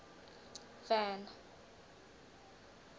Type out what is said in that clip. van